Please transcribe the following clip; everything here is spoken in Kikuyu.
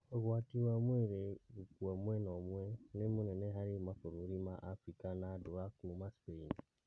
ũgwati wa mwĩrĩ gũkua mwena ũmwe nĩ mũnene harĩ mabũrũri ma Afrika na andũ a kuma Spain